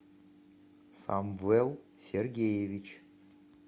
самвел сергеевич